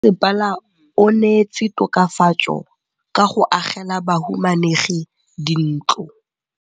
Mmasepala o neetse tokafatsô ka go agela bahumanegi dintlo.